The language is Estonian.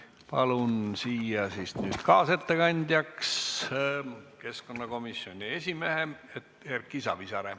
Palun nüüd kaasettekandjaks keskkonnakomisjoni esimehe Erki Savisaare.